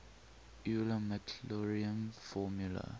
euler maclaurin formula